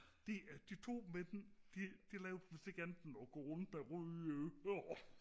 de de to mænd de de lavede vidst ikke andet og gå rundt med røde ører